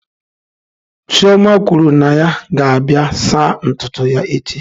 Chioma kwuru na ya ga-abịa saa ntutu ya echi.